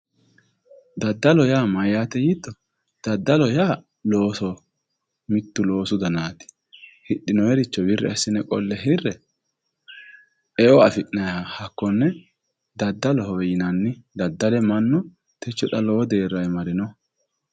Daddaloho yaa mayyaatwe yiitto daddalo yaa loosoho mittu loosu danaati hidhinoyricho wirri assine qolle hirre eo afi'nayha hakkonne daddaloho yinanni daddale mannu techo xa lowo deerrawe marino mannu